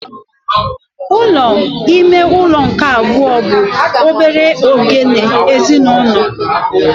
Ụlọ ime ụlọ nke abụọ bụ obere oghere ezinụlọ.